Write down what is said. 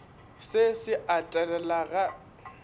se se a telela ga